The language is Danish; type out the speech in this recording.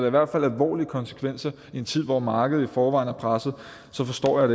i hvert fald alvorlige konsekvenser i en tid hvor markedet i forvejen er presset så forstår jeg